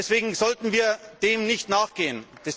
Deswegen sollten wir dem nicht nachgeben.